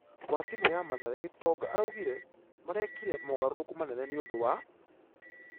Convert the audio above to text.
.....wa timũ ya mathare gitonga araugire marekire mũgarũrũku manene nĩũndũ wa ......